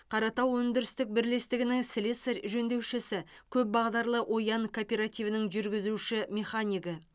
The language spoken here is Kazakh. қаратау өндірістік бірлестігінің слесарь жөндеушісі көпбағдарлы оян кооперативінің жүргізуші механигі